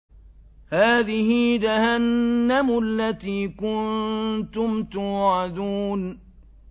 هَٰذِهِ جَهَنَّمُ الَّتِي كُنتُمْ تُوعَدُونَ